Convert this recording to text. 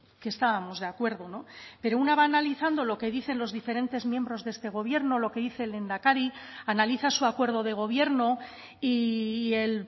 que estábamos de acuerdo pero una va analizando lo que dicen los diferentes miembros de este gobierno lo que dice el lehendakari analiza su acuerdo de gobierno y el